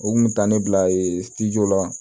U kun bɛ taa ne bila la